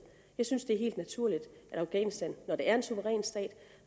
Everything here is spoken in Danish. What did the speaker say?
jeg synes det er helt naturligt når afghanistan er en suveræn stat